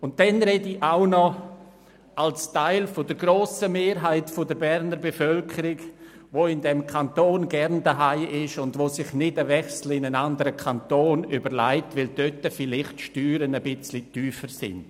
Zudem spreche ich noch als Teil der grossen Mehrheit der Berner Bevölkerung, die in diesem Kanton gerne zu Hause ist und sich nicht einen Wechsel in einen anderen Kanton überlegt, weil die Steuern dort vielleicht ein bisschen tiefer sind.